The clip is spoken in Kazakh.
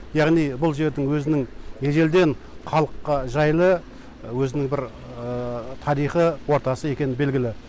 яғни бұл жердің өзінің ежелден халыққа жайлы өзінің бір тарихы ортасы екені белгілі